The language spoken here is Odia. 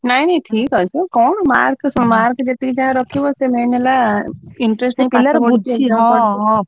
ନାଇଁ ନାଇଁ ଠିକ୍ ଅଛି କଣ mark ଯେତିକି ଯାହା ରଖିବ ସେ main ହେଲା